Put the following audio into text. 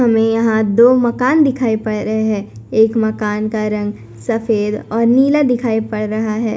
हमें यहां दो मकान दिखाई पड़ रहे हैं एक मकान का रंग सफेद और नीला दिखाई पड़ रहा है।